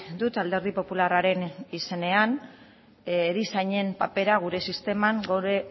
dut alderdi popularraren izenean erizainen papera gure sisteman gure